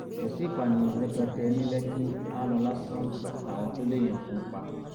kò sí ìpànìyàn rẹpẹtẹ ní lẹkì aálọ lásán làwọn tó léèyàn kú ń pa